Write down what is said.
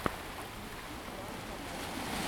включи клан сопрано